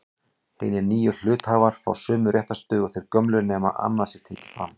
Hinir nýju hluthafar fá sömu réttarstöðu og þeir gömlu nema annað sé tekið fram.